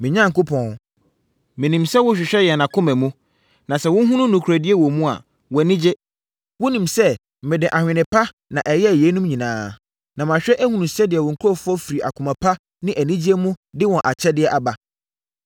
Me Onyankopɔn, menim sɛ wohwehwɛ yɛn akoma mu, na sɛ wohunu nokorɛdie wɔ mu a, wʼani gye. Wonim sɛ mede adwene pa na ɛyɛɛ yeinom nyinaa, na mahwɛ ahunu sɛdeɛ wo nkurɔfoɔ firi akoma pa ne anigyeɛ mu de wɔn akyɛdeɛ aba.